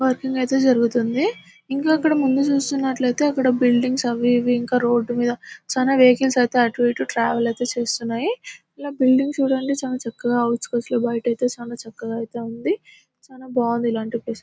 Working ఐతే జరుగుతుంది. ఇంకా అక్కడ ముందు చూసుకుంట్లయితే అక్కడ బిల్డింగ్స్ . అవి ఇవి ఇంకా అక్కడ రోడ్ మీద చాల వెహికల్స్ ఐతే అటు ఇటు ట్రావెల్ ఐతే చేస్తున్నాయి. ఇలా బిల్డింగ్ చూడండి చాలా చక్కగా ఔట్స్కట్స్ లో బయట ఐతే చాలా చక్కగా ఉంది. చాలా బాగుంది ఇలాంటి ప్లేస్ --